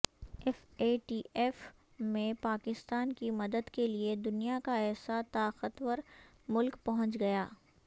F A T F میںپاکستان کی مدد کیلئے دنیا کا ایسا طاقتور ملک پہنچ گیا